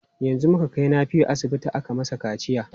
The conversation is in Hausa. Yanzu muka kai Nafiu asibiti aka masa kaciya.